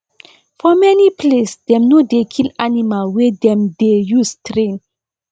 for many place dem no dey kill animal wey dem dey use train